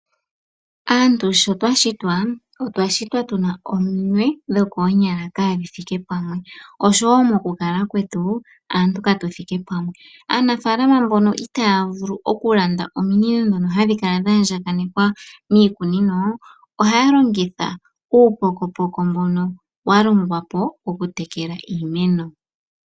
Aantu sho twa shitwa, otwa shitwa tu na ominwe dhokoonyala kaadhi thike pamwe, osho wo mokukala kwetu aantu ka tu thike pamwe. Aanafaalama mbono itaya vulu okulanda ominino ndhono hadhi kala dha andjakanekwa miikunino, ohaya longitha uupokopoko mbono wa longwa po woku tekela iimeno.